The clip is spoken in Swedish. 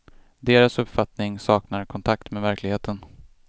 Deras uppfattning saknar kontakt med verkligheten.